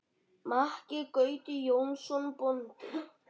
Maki Gauti Jónsson bóndi.